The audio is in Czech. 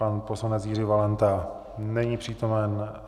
Pan poslanec Jiří Valenta není přítomen.